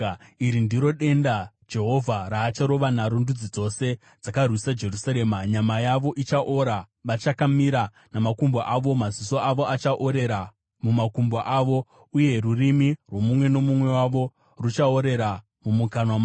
Iri ndiro denda Jehovha raacharova naro ndudzi dzose dzakarwisa Jerusarema: Nyama yavo ichaora vachakamira namakumbo avo, maziso avo achaorera mumakomba awo, uye rurimi rwomumwe nomumwe wavo ruchaorera mumukanwa make.